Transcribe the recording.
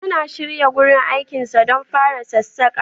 Yana shirya wurin aikinsa don fara sassaƙa.